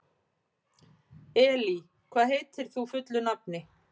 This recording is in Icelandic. Elí, hvað heitir þú fullu nafni?